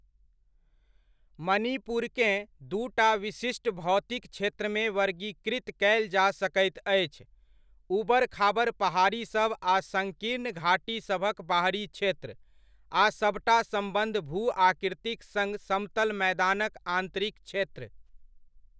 मणिपुरकेँ दूटा विशिष्ट भौतिक क्षेत्रमे वर्गीकृत कयल जा सकैत अछि, ऊबड़ खाबड़ पहाड़ीसभ आ सङ्कीर्ण घाटीसभक बाहरी क्षेत्र, आ सभटा सम्बद्ध भू आकृतिक सङ्ग समतल मैदानक आन्तरिक क्षेत्र।